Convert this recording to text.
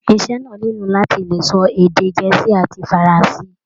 Iṣẹ náà nilo láti lè sọ èdè gẹ̀ẹ́sì àti faranse.